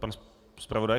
Pan zpravodaj.